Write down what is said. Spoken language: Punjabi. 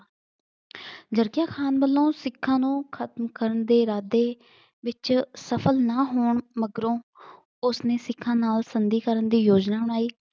ਜਰਕੀਆਂ ਖਾਨ ਵਲੋਂ ਸਿਖਾਂ ਨੂੰ ਖਤਮ ਕਰਨ ਦੇ ਇਰਾਦੇ ਵਿੱਚ ਸਫਲ ਨਾ ਹੋਣ ਮਗਰੋਂ ਉਸ ਨੇ ਸਿਖਾਂ ਨਾਲ ਸੰਧੀ ਕਰਨ ਦੀ ਯੋਜਨਾ ਬਣਾਈ।